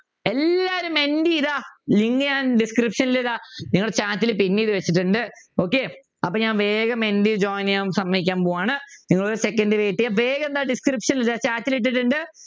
എല്ലാവരും മെൻറ്റി ഇതാ link ഞാൻ description box ൽ ഇടാം നിങ്ങടെ chat ൽ pin ചെയ്തു വച്ചിട്ടുണ്ട് okay അപ്പൊ ഞാൻ വേഗം മെൻറ്റിയിൽ join ചെയ്യാൻ സമ്മതിക്കാൻ പോവ്വാണ് നിങ്ങൾ ഒരു second wait ചെയ്യുക വേഗം താ description ൽ chat ൽ ഇട്ടിട്ടുണ്ട്